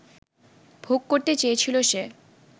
ভোগ করতে চেয়েছিল সে